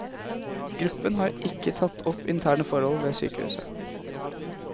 Gruppen har ikke tatt opp interne forhold ved sykehuset.